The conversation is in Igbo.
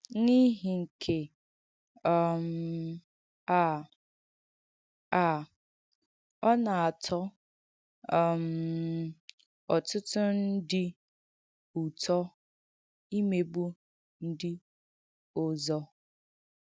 N’ìhì nke um à, à, ọ na-atọ́ um ọ̀tụ̀tụ̀ ndí ùtọ̀ ìmègbù ndí òzọ̀.